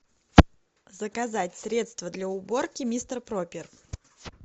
заказать средство для уборки мистер пропер